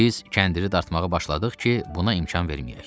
Biz kəndiri dartmağa başladıq ki, buna imkan verməyək.